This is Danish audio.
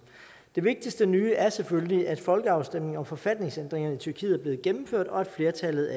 det vigtigste nye er selvfølgelig at folkeafstemningen om forfatningsændringerne i tyrkiet er blevet gennemført og at flertallet